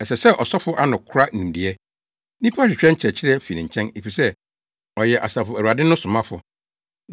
“Ɛsɛ sɛ, ɔsɔfo ano kora nimdeɛ. Nnipa hwehwɛ nkyerɛkyerɛ fi ne nkyɛn, efisɛ ɔyɛ Asafo Awurade no somafo.